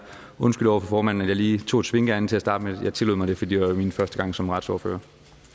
undskylder over for formanden at jeg lige tog et svinkeærinde til at starte med jeg tillod mig det fordi det var min første gang som retsordfører